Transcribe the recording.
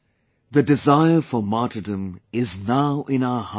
The desire for martyrdom is now in our hearts